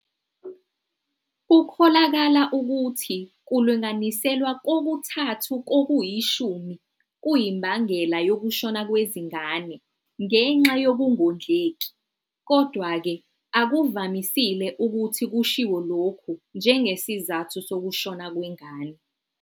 Kukholakala ukuthi kulinganiselwa kokuthathu kokuyishumi kuyimbangela yokushona kwezingane ngenxa yokungondleki, kodwa-ke, akuvamisile ukuthi kushiwo lokhu njengesizathu sokushona kwengane.